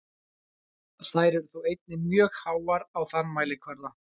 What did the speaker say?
Þær eru þó einnig mjög háar á þann mælikvarða.